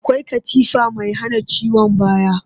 Akwai katifa mai hana ciwon baya